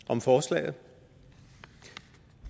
om forslaget